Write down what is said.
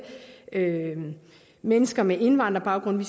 mennesker med indvandrerbaggrund